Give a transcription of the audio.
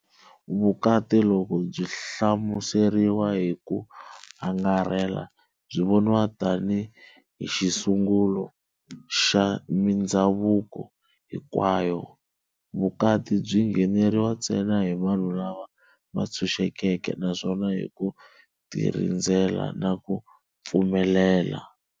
Vukati loko byi hlamuseriwa hi ku angarhela, byi voniwa tani hi xisungulo xa mindzhavuko hinkwayo. Vukati byi ngheneriwa ntsena hi vanhu lava vantshuxekeke naswona hi ku tirhandzela na ku pfumelela."